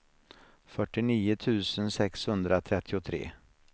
fyrtionio tusen sexhundratrettiotre